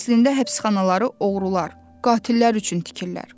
Əslində həbsxanaları oğrular, qatillər üçün tikirlər.